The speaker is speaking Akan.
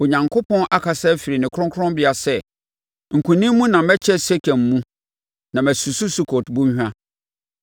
Onyankopɔn akasa afiri ne kronkronbea sɛ, “Nkonim mu na mɛkyɛ Sekem mu na masusu Sukot Bɔnhwa.